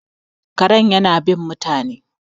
kare yana bin mutane